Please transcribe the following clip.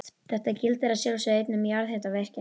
Þetta gildir að sjálfsögðu einnig um jarðhitavirkjanir.